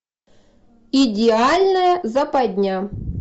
идеальная западня